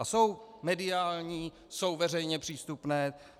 A jsou mediální, jsou veřejně přístupné.